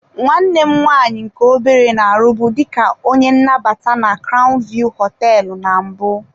Nwanne m nwaanyị nke obere na-arụbu dị ka onye nnabata na crown view hoteelu na mbụ.